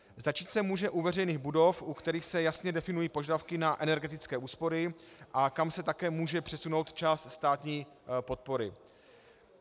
Začít se může u veřejných budov, u kterých se jasně definují požadavky na energetické úspory a kam se také může přesunout část státní podpory.